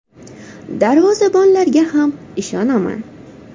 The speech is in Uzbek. Darvozabonlarga ham ishonaman.